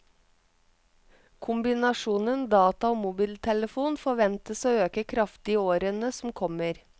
Kombinasjonen data og mobiltelefon forventes å øke kraftig i årene som kommer.